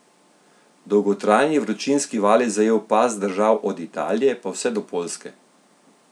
Dolgotrajni vročinski val je zajel pas držav od Italije pa vse do Poljske.